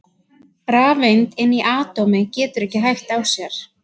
Rafeind inni í atómi getur ekki hægt á sér!